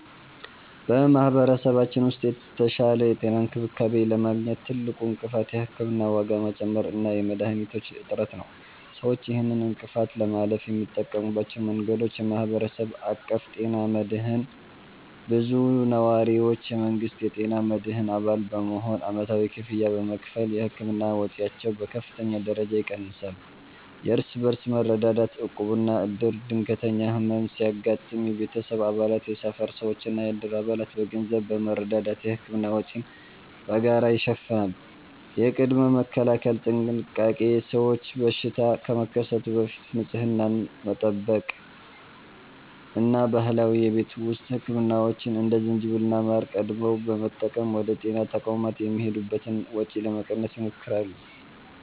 በማኅበረሰባችን ውስጥ የተሻለ የጤና እንክብካቤ ለማግኘት ትልቁ እንቅፋት የሕክምና ዋጋ መጨመር እና የመድኃኒቶች እጥረት ነው። ሰዎች ይህንን እንቅፋት ለማለፍ የሚጠቀሙባቸው መንገዶች፦ የማኅበረሰብ አቀፍ ጤና መድህን (CBHI)፦ ብዙ ነዋሪዎች የመንግሥትን የጤና መድህን አባል በመሆን ዓመታዊ ክፍያ በመክፈል የሕክምና ወጪያቸውን በከፍተኛ ደረጃ ይቀንሳሉ። የእርስ በርስ መረዳዳት (ዕቁብና ዕድር)፦ ድንገተኛ ሕመም ሲያጋጥም የቤተሰብ አባላት፣ የሰፈር ሰዎችና የዕድር አባላት በገንዘብ በመረዳዳት የሕክምና ወጪን በጋራ ይሸፍናሉ። የቅድመ-መከላከል ጥንቃቄ፦ ሰዎች በሽታ ከመከሰቱ በፊት ንጽህናን በመጠበቅ እና ባህላዊ የቤት ውስጥ ሕክምናዎችን (እንደ ዝንጅብልና ማር) ቀድመው በመጠቀም ወደ ጤና ተቋማት የሚሄዱበትን ወጪ ለመቀነስ ይሞክራሉ።